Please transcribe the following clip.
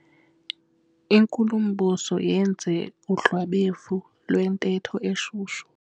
Inkulumbuso yenze udlwabevu lwentetho eshushu.